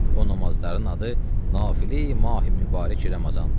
O namazların adı Nafilə-yi Mahi Mübarək Ramazandır.